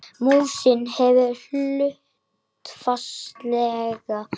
Músin hefur hlutfallslega